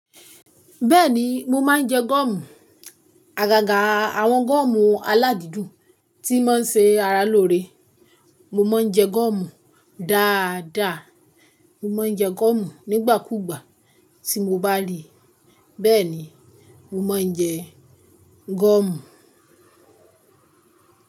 Bẹ́ẹ̀ni mo máa ń jẹ gọ́ọ̀mù. Àgàgà àwọn gọ́ọ̀mù aládìdùn tí mọ́n ṣe ara lóore. Mo máa ń jẹ gọ́ọ̀mù dáadáa. Mo ma ń jẹ gọ́ọ̀mù nígbàkúgbà tí mo bá rí i. Bẹ́ẹ̀ni, mo ma ń jẹ gọ́ọ̀mù.